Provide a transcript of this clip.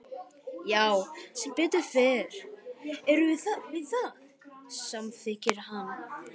Já sem betur fer erum við það, samþykkir hann.